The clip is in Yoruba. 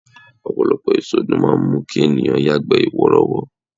Ọ̀pọ̀lọpọ̀ èso ló máa ń mú kí ènìyàn yagbe worowo.